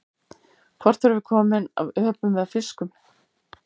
Hvort erum við komin af öpum eða fiskum?